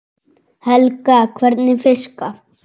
Helga: Hvernig fiska?